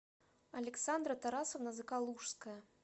александра тарасовна закалужская